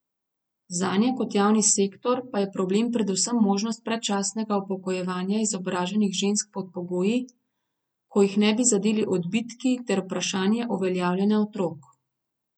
Zanje kot javni sektor pa je problem predvsem možnost predčasnega upokojevanja izobraženih žensk pod pogoji, ko jih ne bi zadeli odbitki, ter vprašanje uveljavljanja otrok.